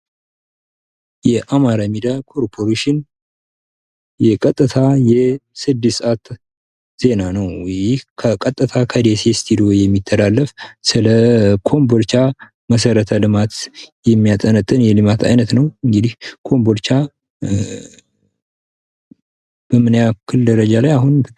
የአማራ ሚዲያ ኮርፖሬሽን የቀጥታ ስድስት ሰዓት ዜና ነው። ይህ ቀጥታ ከደሴ ስቱዲዮ የሚተላለፈው ስለ ኮምቦልቻ መሰረተ ልማት የሚያጠነጥን የልማት አይነት ነው። እንግዲህ ኮምቦልቻ በምን ያህል ደረጃ ላይ አሁን ትገኛለች?